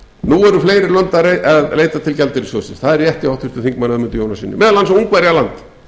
nú eru fleiri lönd að leita til gjaldeyrissjóðsins það er rétt hjá háttvirtum þingmanni ögmundi jónassyni meðal annars ungverjaland